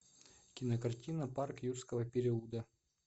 кинокартина парк юрского периода